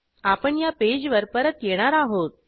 आपण या पेजवर परत येणार आहोत